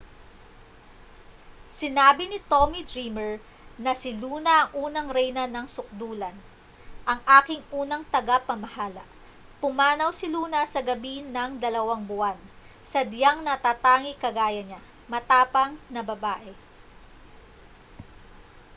sinabi ni tommy dreamer na si luna ang unang reyna ng sukdulan ang aking unang tagapamahala pumanaw si luna sa gabi ng dalawang buwan sadyang natatangi kagaya niya matapang na babae